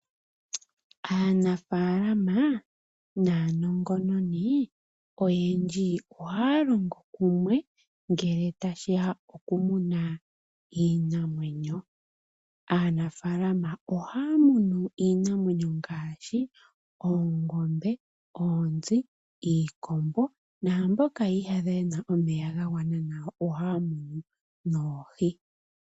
Aantu oyendji ohaya munu oohi opo ye dhi landithe po ya mone oshimaliwa nenge ye dhi lyepo. Osho woo ota ya vulu okupa aanegumbo yawo.